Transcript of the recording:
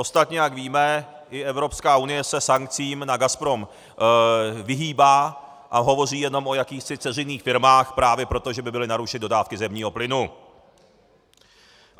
Ostatně, jak víme, i Evropská unie se sankcím na Gazprom vyhýbá a hovoří jenom o jakýchsi dceřiných firmách právě proto, že by byly narušeny dodávky zemního plynu.